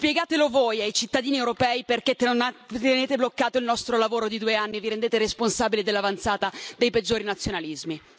Spiegatelo voi ai cittadini europei perché tenete bloccato il nostro lavoro di due anni e vi rendete responsabili dell'avanzata dei peggiori nazionalismi!